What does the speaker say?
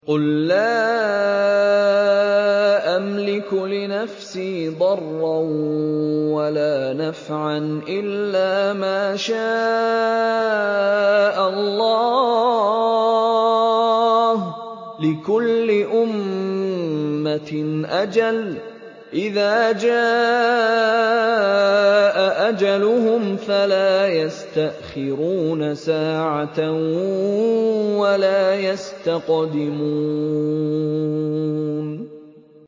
قُل لَّا أَمْلِكُ لِنَفْسِي ضَرًّا وَلَا نَفْعًا إِلَّا مَا شَاءَ اللَّهُ ۗ لِكُلِّ أُمَّةٍ أَجَلٌ ۚ إِذَا جَاءَ أَجَلُهُمْ فَلَا يَسْتَأْخِرُونَ سَاعَةً ۖ وَلَا يَسْتَقْدِمُونَ